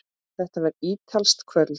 Þetta var ítalskt kvöld.